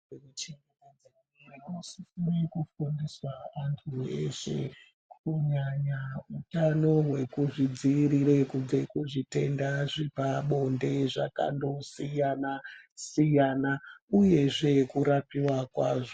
.......... Avanosisire kufundisa vantu veshe kunyanya utano hwekuzvidziirire kubve kuzvitenda zvepabonde zvakandosiyana siyana uyezve kurapiwa kwazvo.